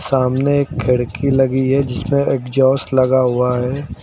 सामने एक खिड़की लगी है जिसमें एग्जास्ट लगा हुआ है।